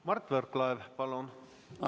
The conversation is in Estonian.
Mart Võrklaev, palun!